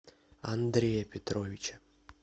андрея петровича